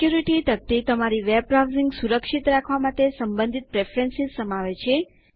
security તકતી તમારી web browsing સુરક્ષિત રાખવા માટે સંબંધિત પ્રેફરન્સ સમાવે છે